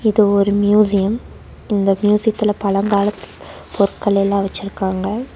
இது ஒரு மியூசியம் இந்த மியூசியத்துலெ பல காலப் பொருட்கள் எல்லா வச்சிருக்காங்க.